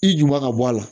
I ju b'a bɔ a la